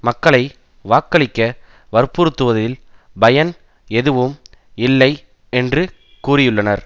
மக்களை வாக்களிக்க வற்புறுத்துவதில் பயன் எதுவும் இல்லை என்று கூறியுள்ளனர்